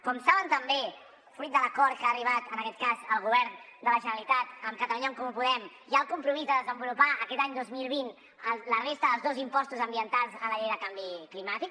com saben també fruit de l’acord a què ha arribat en aquest cas el govern de la generalitat amb catalunya en comú podem hi ha el compromís de desenvolupar aquest any dos mil vint la resta dels dos impostos ambientals de la llei de canvi climàtic